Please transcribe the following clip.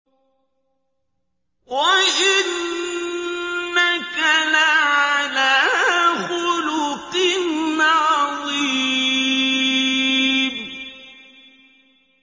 وَإِنَّكَ لَعَلَىٰ خُلُقٍ عَظِيمٍ